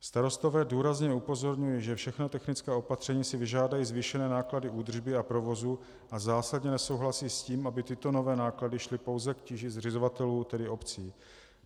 Starostové důrazně upozorňují, že všechna technická opatření si vyžádají zvýšené náklady údržby a provozu, a zásadně nesouhlasí s tím, aby tyto nové náklady šly pouze k tíži zřizovatelů, tedy obcí.